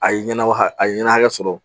A ye ɲɛna a ye ɲɛnɛ sɔrɔ